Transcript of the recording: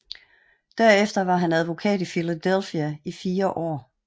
Derefter var han advokat i Philadelphia i fire år